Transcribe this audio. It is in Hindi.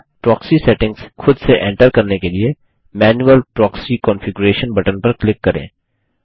प्रोक्सी सेटिंग्स खुद से एंटर करने के लिए मैनुअल प्रॉक्सी कॉन्फिगरेशन बटन पर क्लिक करें